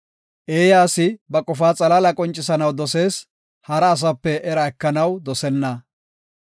Eeya asi ba qofaa xalaala qoncisanaw dosees; hara asape era ekanaw dosenna.